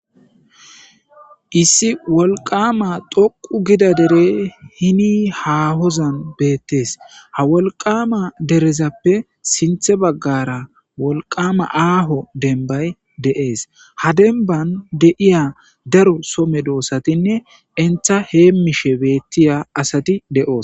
Issi wolqama doqu gida dere hini ha hozan beettees ha wolqama derezappe sinthe baggara wolqama aaho denbay de,ees ha denban deiya daro some doossatinne entha heemishe beettiya asati de,oos.